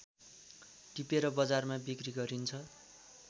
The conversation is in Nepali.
टिपेर बजारमा बिक्री गरिन्छ